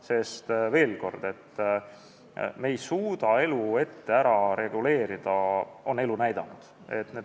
Sest veel kord: me ei suuda kõike ette ära reguleerida, seda on elu näidanud.